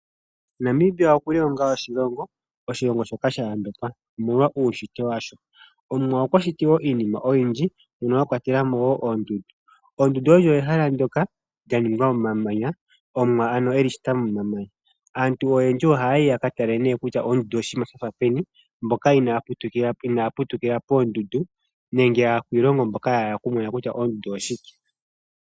Namibia okuli onga oshilong, Oshilongo shoka sha yambekwa omolwa uushitwe washo omwa okwashiti iinima oyindji mono a kwatelamo woo oondundu, oondundu olyo ehala ndjoka lya ningwa momamanya Omwa ano eli shita momamanya aantu oyendji ohayi ne yakatale kutya Oondundu oshinima oshafa peni mboka ina ya putukila poondundu nenge akwiilongo mboka ya hala okumona kutya oondundu oshike.